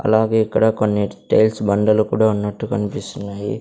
అలాగే ఇక్కడ కొన్ని టైల్స్ బండలు కూడా ఉన్నట్టు కనిపిస్తున్నాయి.